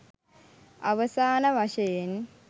අවසාන වශයෙන්